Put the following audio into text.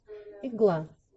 игла